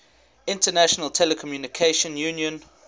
international telecommunication union